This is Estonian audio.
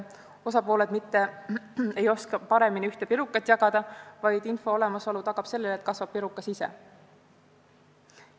Osapooled mitte ei oska paremini ühte pirukat jagada, vaid info olemasolu tagab selle, et pirukas kasvab.